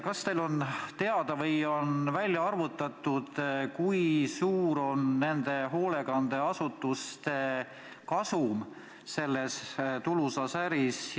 Kas teile on teada, kas on välja arvutatud, kui suur on nende hoolekandeasutuste kasum selles tulusas äris?